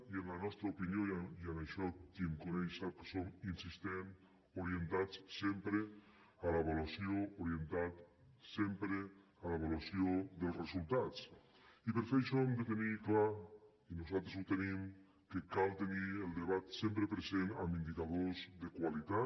i en la nostra opinió i en això qui em coneix sap que soc insistent orientats sempre a l’avaluació orientats sempre a l’avaluació dels resultats i per fer això hem de tenir clar nosaltres l’hi tenim que cal tenir el debat sempre present amb indicadors de qualitat